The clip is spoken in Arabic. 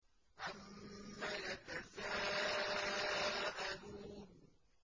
عَمَّ يَتَسَاءَلُونَ